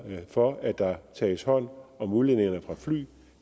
for at der tages hånd om udledningerne fra fly